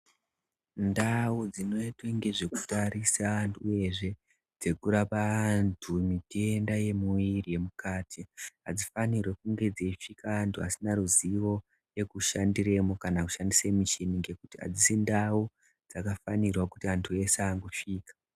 Ndau dzinoitwa ngezvekutarisa antu uyezve dzekurapa antu mitenda yemuviri yemukati adzifaniri kunge dzaishanda antu asina ruzivo nekushandiremo kana kushandisa muchini ngekuti adzisi ndau dzakafanira kuti antu eshe angosvika .